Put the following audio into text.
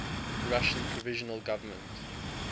russian provisional government